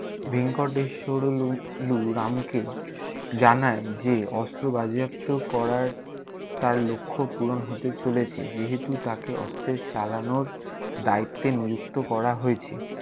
ভেঙ্কটেশশোরেলু লু রামকে জানায় যে অস্ত্র বাজেয়াপ্ত করার তার লক্ষ্য পূরণ হতে চলেছে যেহেতু তাকে অস্ত্রের চালানোর দায়িত্বে নিযুক্ত করা হয়েছে।